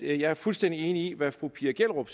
er fuldstændig enig i hvad fru pia gellerup